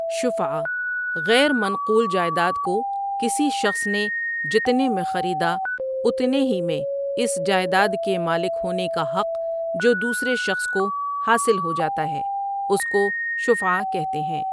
شُفعہ غیر مَنْقول جائداد کوکسی شخص نے جتنے میں خریدا اُتنے ہی میں اس جائیداد کے مالک ہونے کاحق جودوسرے شخص کوحاصل ہو جاتا ہے اس کو شفعہ کہتے ہیں۔